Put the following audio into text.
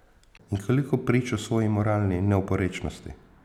In koliko prič o svoji moralni neoporečnosti.